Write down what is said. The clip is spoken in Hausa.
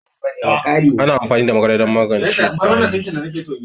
Ana amfani da magarya don maganje tari